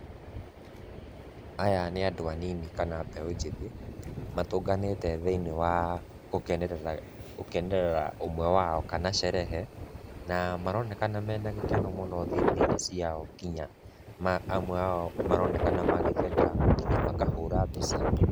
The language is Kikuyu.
Aya nĩ andũ anini kana mbeũ njĩthĩ, matũnganĩte thĩ-inĩ wa gũkenerera ũmwe wao kana sherehe na maronekana mena gĩkeno mũno thithi-inĩ ciao nginya amwe ao maronekana magĩtheka, nginya makahũra mbica.